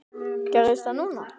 Gerðist það núna?